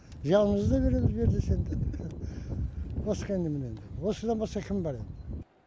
жанымызды да береміз бер десе енді басқа немене енді осыдан басқа кімім бар енді